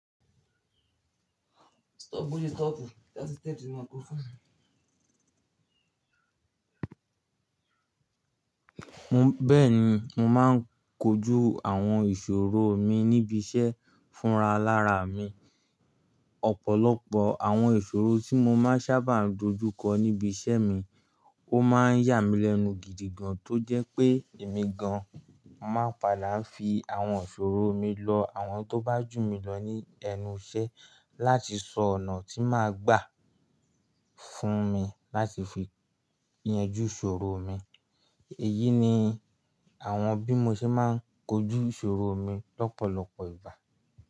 Bẹ́ẹ̀ni, mo máa ń kojú àwọn ìṣòro mi níbi iṣẹ́ fúnra lára mi. Ọ̀pọ̀lọpọ̀ àwọn ìṣòro tí mo máa ń sábà dojú kọ níbi iṣẹ́ mi, ó máa ń yà mí lẹ́nu gidi gan, tó jẹ́ pé èmi gan máa padà ń fi àwọn ìṣòro mi lọ àwọn tó bá jù mí lọ ní ẹnu iṣẹ́ láti sọ ọ̀nà tí máa gbà fún mi láti fi yanjú ìṣòro mi. Èyí ni àwọn bí mo ṣe máa ń kojú ìṣòro mi lọ́pọ̀lọpọ̀ ìgbà.